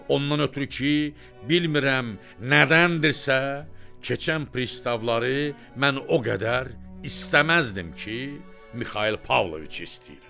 Ondan ötrü ki, bilmirəm nədəndirsə, keçən pristavları mən o qədər istəməzdim ki, Mixail Pavloviçi istəyirəm.